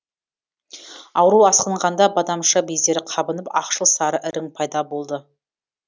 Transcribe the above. ауру асқынғанда бадамша бездері қабынып ақшыл сары ірің пайда болды